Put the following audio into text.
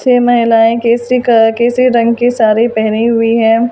फिर महिलायें केशरी कलर की केशरी रंग की साड़ी पहनी हुई हैं।